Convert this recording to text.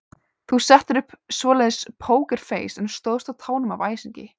Þú settir upp svoleiðis pókerfeis en stóðst á tánum af æsingi.